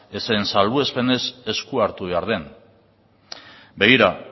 ezen salbuespenez esku hartu behar den begira